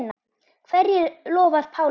Hverju lofar Pálmar?